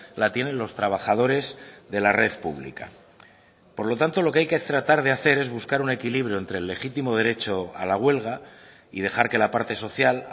la tienen los trabajadores de la red pública por lo tanto lo que hay que tratar de hacer es buscar un equilibrio entre el legítimo derecho a la huelga y dejar que la parte social